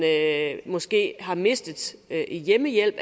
måske har mistet i hjemmehjælp